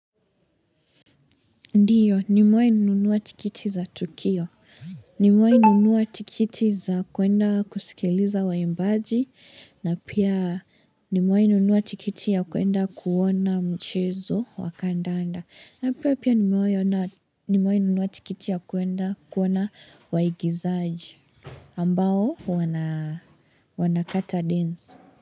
Ndiyo, nimewai nunua tikiti za Tukio. Nimewai nunua tikiti za kuenda kusikiliza waimbaji. Na pia nimrewai nunua tikiti ya kuenda kuona mchezo wakandanda. Na pia nimewai nunua tikiti ya kuenda kuona waigizaji. Ambao wana kata densi.